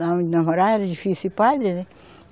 Lá onde nós morava era difícil ir padre, né.